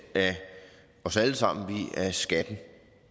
af os alle sammen via skatten